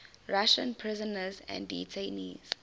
russian prisoners and detainees